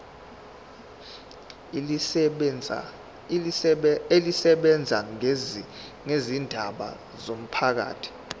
elisebenza ngezindaba zomphakathi